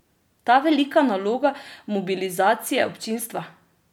Ta velika naloga mobilizacije občinstva?